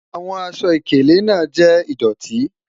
Awọn àṣọ-ìkèlè naa jẹ́ ìdọ̀tì